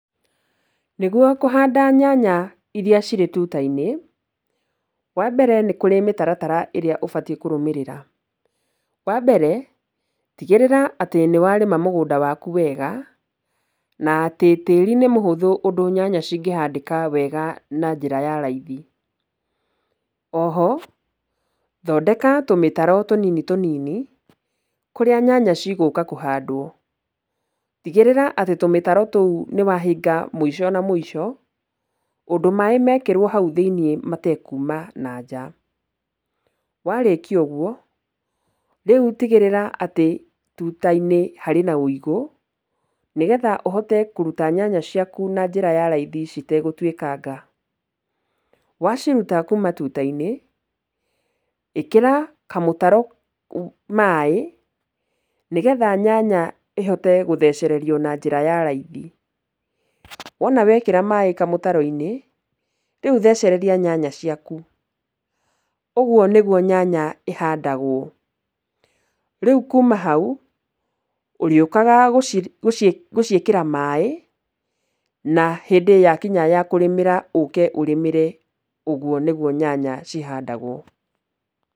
Nĩgwo kũhanda nyanya iria cirĩ tuta-inĩ, wambere nĩkũrĩ mĩtaratara ĩrĩa ũbatiĩ kũrũmĩrĩra. Wambere, tigĩrĩra atĩ nĩwarĩma mũgũnda waku wega na atĩ, tĩĩri nĩ mũhũthũ ũndũ nyanya cingĩhandĩka wega na njĩra ya raithi. Oho, thondeka tũmĩtaro tũnini tũnini kũrĩa nyanya cigũka kũhandwo. Tigĩrĩra atĩ tũmĩtaro tũu nĩwahinga mũico na mũico, ũndũ maaĩ mekĩrwo hau thĩiniĩ matekuuma nanja. Warĩkia ũgwo, rĩu tigĩrĩra atĩ tuta-inĩ harĩ na wĩigũ, nĩgetha ũhote kũruta nyanya ciaku na njĩra ya raithi citegũtuĩkanga. Waciruta kuuma tuta-inĩ, ĩkĩra kamũtaro maaĩ nĩgetha nyanya ĩhote gũthecererio na njĩra ya raithi. Wona wekĩra maaĩ kamũtaro-inĩ, rĩu thecereria nyanya ciaku. Ũgwo nĩgwo nyanya ĩhandagwo. Rĩu kuuma hau ũrĩũkaga gũciĩkĩra maaĩ, na hĩndĩ yakinya ya kũrĩmĩra ũke ũrĩmĩre. Ũgwo nĩgwo nyanya cihandagwo.